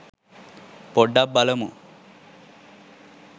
පොඩ්ඩක් බලමු